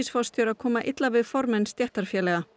forstjóra koma illa við formenn stéttarfélaganna